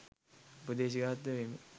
උපදේශාත්මකව මෙන්ම